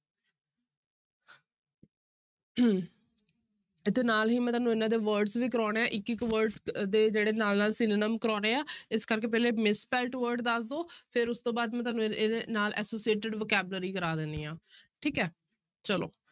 ਇੱਥੇ ਨਾਲ ਹੀ ਮੈਂ ਤੁਹਾਨੂੰ ਇਹਨਾਂ ਦੇ words ਵੀ ਕਰਵਾਉਣੇ ਹੈ ਇੱਕ ਇੱਕ word ਦੇ ਜਿਹੜੇ ਨਾਲ ਨਾਲ synonym ਕਰਵਾਉਣੇ ਹੈ ਇਸ ਕਰਕੇ ਪਹਿਲੇ misspelt word ਦੱਸ ਦਓ, ਫਿਰ ਉਸ ਤੋਂ ਬਾਅਦ ਮੈਂ ਤੁਹਾਨੂੰ ਇਹਦੇ, ਇਹਦੇ ਨਾਲ associated vocabulary ਕਰਵਾ ਦਿੰਦੀ ਹਾਂ ਠੀਕ ਹੈ ਚਲੋ।